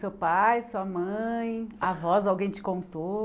Seu pai, sua mãe, avós, alguém te contou?